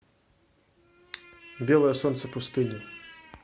белое солнце пустыни